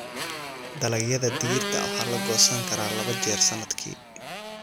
Dalagyada digirta waxaa la goosan karaa laba jeer sannadkii.